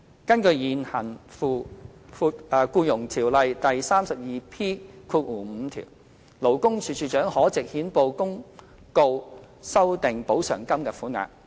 根據現行《僱傭條例》第 32P5 條，勞工處處長可藉憲報公告修訂補償金的款額。